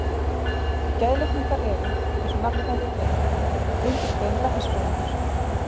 Geðlækningar eru, eins og nafnið bendir til, undirgrein læknisfræðinnar.